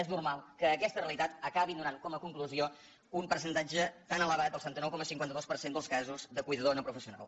és normal que aquesta realitat acabi donant com a conclusió un percentatge tan elevat del setanta nou coma cinquanta dos per cent dels casos de cuidador no professional